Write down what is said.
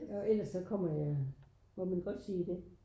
Og ellers så kommer jeg må man godt sige det?